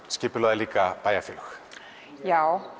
skipulagði líka bæjarfélög já